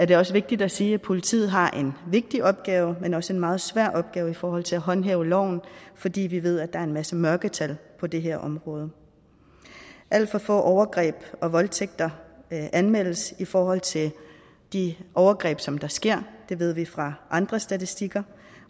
det også vigtigt at sige at politiet har en vigtig opgave men også en meget svær opgave i forhold til at håndhæve loven fordi vi ved at der er en masse mørketal på det her område alt for få overgreb og voldtægter anmeldes i forhold til de overgreb som der sker det ved vi fra andre statistikker